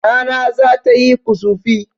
Rana zata yi kusufi